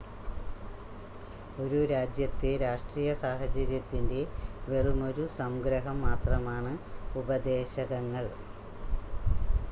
ഒരു രാജ്യത്തെ രാഷ്ട്രീയ സാഹചര്യത്തിൻ്റെ വെറുമൊരു സംഗ്രഹം മാത്രമാണ് ഉപദേശകങ്ങൾ